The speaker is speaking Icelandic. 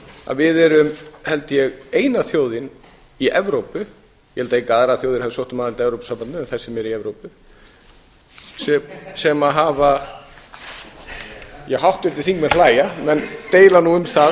að við erum held ég eina þjóðin í evrópu ég hygg að engar aðrar þjóðir hafi sótt um aðild að evrópusambandinu en þær sem eru í evrópu en þær sem eru í evrópu sem hafa háttvirtir þingmenn hlæja menn deila nú um það